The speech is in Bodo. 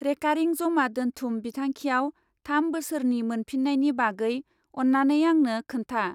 रेकारिं जमा दोन्थुम बिथांखियाव थाम बोसोरनि मोनफिन्नायनि बागै अन्नानै आंनो खोन्था।